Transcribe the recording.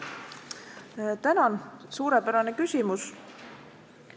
Tänan, suurepärane küsimus!